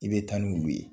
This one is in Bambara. I bɛ taa n'u ye